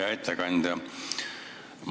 Hea ettekandja!